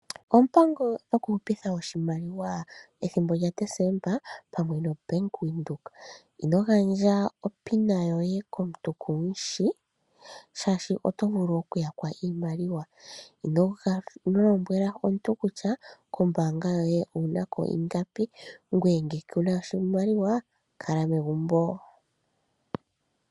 Oompango dhokuhupitha oshimaliwa pethimbo lyaDezemba pamwe noBank Windhoek. Ino gandja opin yoye konuntu kumushi shaashi oto vulu okyakwa iimaliwa . Ino lombwela omuntu kutya kombaanga yoye okuna ingapi, ngwee ngele ngele kuna oshimaliwa kala megumbo.